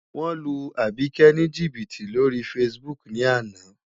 Wọ́n lu Àbíkẹ́ ní jìbìtì lórí Facebook ní àná.